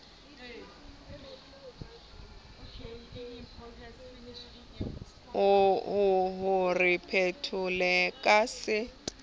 o re phethele ka se